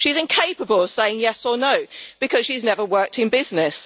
She is incapable of saying yes' or no', because she has never worked in business.